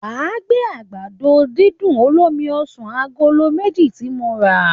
Wà á gbé àgbàdo-dídùn olómi ọsàn agolo méjì tí mo rà